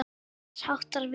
Ekkert þess háttar átti við.